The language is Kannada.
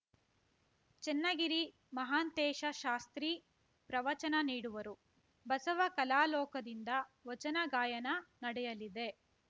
ಚನ್ನಗಿರಿ ಮಹಾಂತೇಶ ಶಾಸ್ತ್ರಿ ಪ್ರವಚನ ನೀಡುವರು ಬಸವ ಕಲಾಲೋಕದಿಂದ ವಚನ ಗಾಯನ ನಡೆಯಲಿದೆ